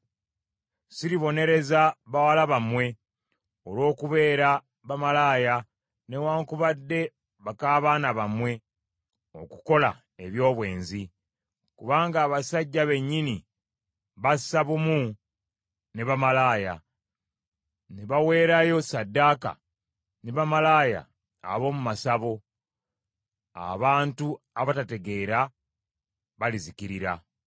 “Siribonereza bawala bammwe olw’okubeera bamalaaya, newaakubadde baka baana bammwe okukola eby’obwenzi, kubanga abasajja bennyini bassa bumu ne bamalaaya, ne baweerayo ssaddaaka ne bamalaaya ab’omu masabo; abantu abatategeera balizikirira.